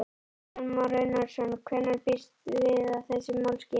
Kristján Már Unnarsson: Hvenær býstu við að þessi mál skýrist?